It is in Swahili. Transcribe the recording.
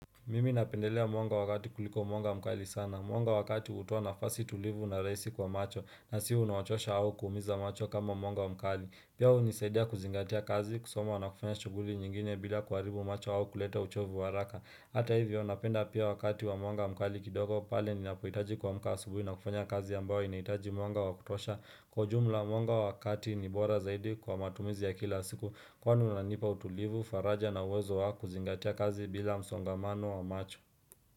Mimi napendelea mwanga wa kati kuliko mwanga mkali sana. Mwanga wa kati hutoa nafasi tulivu na rahisi kwa macho na siyo unaochosha au kuumiza macho kama mwanga mkali. Pia hunisaidia kuzingatia kazi kusoma na kufanya shughuli nyingine bila kuharibu macho au kuleta uchovu wa haraka. Hata hivyo napenda pia wakati wa mwanga mkali kidogo pale ninapohitaji kuamka asubuhi na kufanya kazi ambayo inahitaji mwanga wa kutosha. Kwa jumla mwanga wa kati ni bora zaidi kwa matumizi ya kila siku kwani unanipa utulivu, faraja na uwezo wa kuzingatia kazi bila msongamano wa macho.